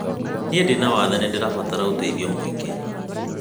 Niĩ ndĩna wathe na nĩndĩrabatara ũteithio mũingĩ.